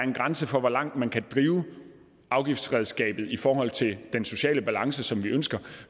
en grænse for hvor langt man kan drive afgiftsredskabet i forhold til den sociale balance som vi ønsker